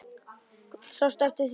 Guðný: Sástu eftir því?